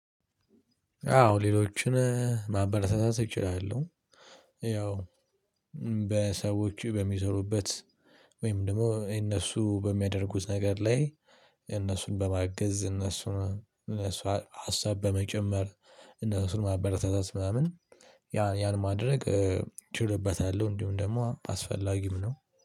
አዎ ሌሎችን ማበረታታት እችላለሁ። ያው በሰዎች በሚዘሩበት ወይም ደግሞ እነሱ በሚያደርጉት ነገር ላይ እነሱን በማገዝ እነሱን እነሱ ሀሳብ በመጨመር እነሱን ማበረታታት ምናምን ያን ያን ማድረግ። ችልበታለሁ እንዲሁም ደግሞ አስፈላጊም ነው